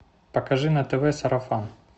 покажи на тв сарафан